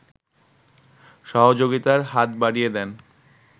সহযোগিতার হাত বাড়িয়ে দেন